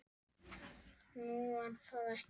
Nú, var það ekki?